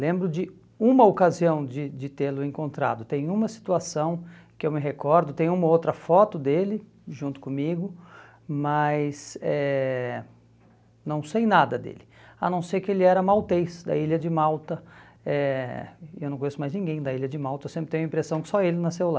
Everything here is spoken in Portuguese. Lembro de uma ocasião de de tê-lo encontrado, tem uma situação que eu me recordo, tem uma outra foto dele junto comigo, mas eh não sei nada dele, a não ser que ele era maltês da ilha de Malta, eh eu não conheço mais ninguém da ilha de Malta, eu sempre tenho a impressão que só ele nasceu lá.